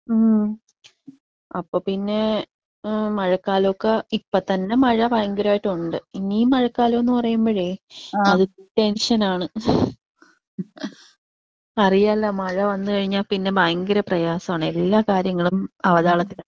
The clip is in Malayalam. ഉം അപ്പൊ പിന്നെ ഏഹ് മഴക്കാലൊക്കേ ഇപ്പത്തന്നെ മഴ ഭയങ്കര ആയിട്ടുണ്ട്. ഇനിയും മഴക്കാലം എന്ന് പറയുമ്പഴേ അത് ടെൻഷനാണ്. അറിയാലോ മഴ വന്ന് കഴിഞ്ഞാ പിന്നെ ഭയങ്കര പ്രയാസാണ് എല്ലാ കാര്യങ്ങളും അവതാളത്തിലാ.